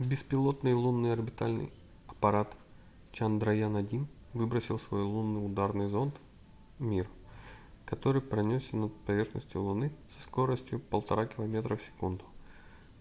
беспилотный лунный орбитальный аппарат чандраян-1 выбросил свой лунный ударный зонд mip который пронёсся над поверхностью луны со скоростью 1,5 километра в секунду